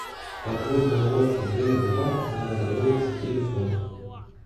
подводная лодка д два народоволец телефон